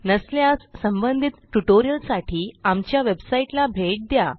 नसल्यास संबंधित ट्युटोरियलसाठी आमच्या वेबसाईटला भेट द्या